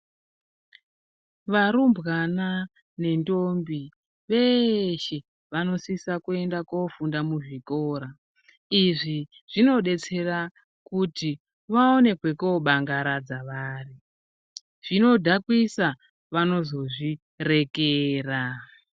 Varumbwana nendombi veshe vanosisa kuenda kofunda muzvikora izvi zvinodetsera kuti vaone kwekobangaradza vari zvinodhakwisa vanozozvirekera.